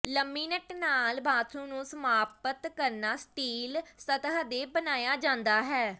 ਲਮਿਨਟ ਨਾਲ ਬਾਥਰੂਮ ਨੂੰ ਸਮਾਪਤ ਕਰਨਾ ਸਟੀਲ ਸਤਹ ਤੇ ਬਣਾਇਆ ਜਾਂਦਾ ਹੈ